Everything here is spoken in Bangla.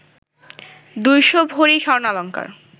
দুইশ ভরি স্বর্ণালঙ্কার